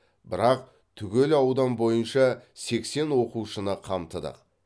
бірақ түгел аудан бойынша сексен оқушыны қамтыдық